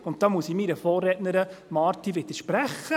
Und da muss ich meiner Vorrednerin Marti widersprechen: